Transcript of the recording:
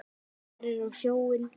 Starir á sjóinn.